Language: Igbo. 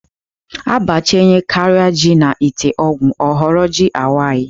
A bachanyekaria ji n 'ite ọgwụ ọ ghọrọ ji awai.